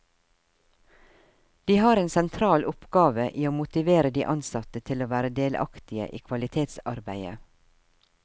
De har en sentral oppgave i å motivere de ansatte til å være delaktige i kvalitetsarbeidet.